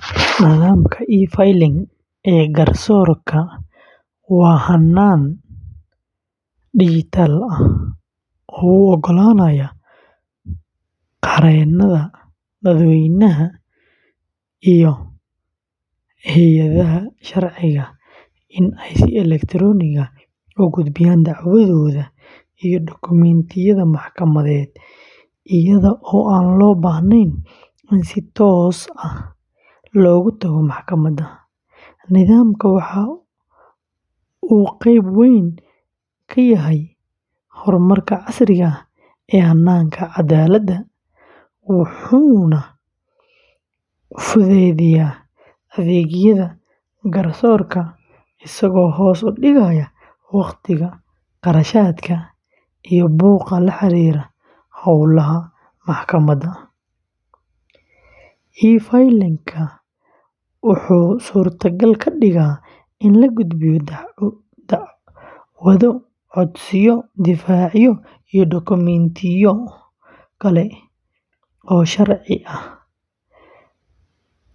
Nidaamka e-Filing ee garsoorka waa hannaan dhijitaal ah oo u oggolaanaya qareennada, dadweynaha, iyo hay’adaha sharciga in ay si elektaroonig ah u gudbiyaan dacwadooda iyo dokumentiyada maxkamadeed iyada oo aan loo baahnayn in si toos ah loogu tago maxkamadda. Nidaamkan waxa uu qeyb weyn ka yahay horumarka casriga ah ee hannaanka cadaaladda, wuxuuna fududeeyaa adeegyada garsoorka, isagoo hoos u dhigaya waqtiga, kharashaadka iyo buuqa la xiriira howlaha maxkamadaha. E-Filing-ka wuxuu suurtagal ka dhigay in la gudbiyo dacwado, codsiyo, difaacyo, iyo dokumentiyo kale oo sharci ah